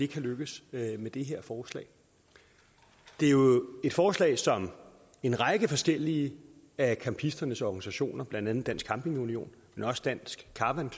kan lykkes med det her forslag det er jo et forslag som en række forskellige af campisternes organisationer blandt andet dansk camping union men også dansk caravan